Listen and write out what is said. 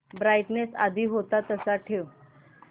brightness आधी होता तसाच ठेव